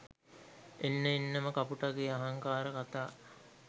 එන්න එන්නම කපුටගේ අහංකාර කතා